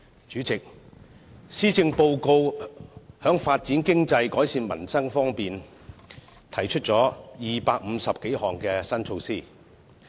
主席，施政報告在發展經濟、改善民生方面，提出了250多項新措施。